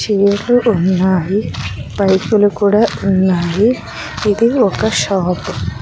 చైర్లు ఉన్నాయి పైపులు కూడా ఉన్నాయి ఇది ఒక షాపు .